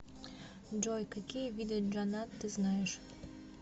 джой какие виды джаннат ты знаешь